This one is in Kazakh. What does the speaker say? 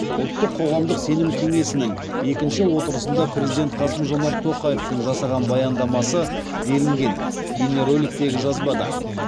ұлттық қоғамдық сенім кеңесінің екінші отырысында президент қасым жомарт тоқаевтың жасаған баяндамасы делінген бейнероликтегі жазбада